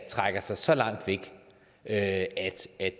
trækker sig så langt væk at